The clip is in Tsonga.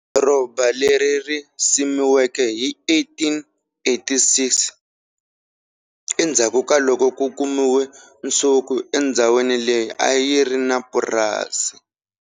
Doroba leri ri simekiwe hi 1886 endzhaku ka loko ku kumiwe nsuku endzhawini leyi a yi ri purasi.